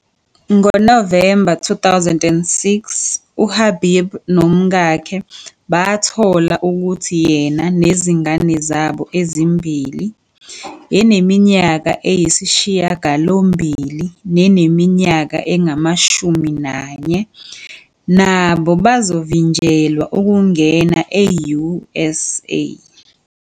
NgoNovemba 2006 uHabib nomkakhe bathola ukuthi yena nezingane zabo ezimbili, eneminyaka eyisishiyagalombili neneminyaka engu-11, nabo bazovinjelwa ukungena e-USA.